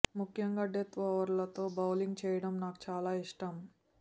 ముఖ్యంగా డెత్ ఓవర్లలో బౌలింగ్ చేయడం నాకు చాలా ఇష్టం